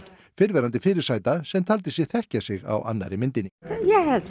fyrrverandi fyrirsæta sem taldi sig þekkja sig á annarri myndinni ég